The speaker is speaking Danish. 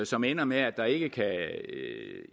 som ender med at der ikke kan